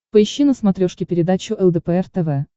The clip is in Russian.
поищи на смотрешке передачу лдпр тв